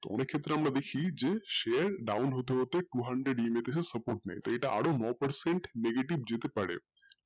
তো অনেক ক্ষেত্রে আমরা দেখি যে share down হতে হতে two hundredEM এর support নাই তো এটা নয় percent যেতে পারেন